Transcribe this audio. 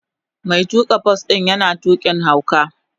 Mai tuka bas din yana tukin hauka.